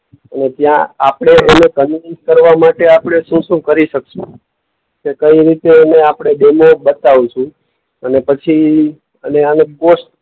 અને ત્યાં આપણે એને કરવા માટે આપણે શું-શું કરી શકશું. કે કઈ રીતે એનું આપણે ડેમો બતાવશું અને પછી અને આને પોસ્ટ